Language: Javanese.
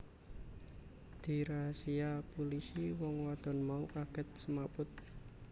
Dirasia pulisi wong wadon mau kagèt semaput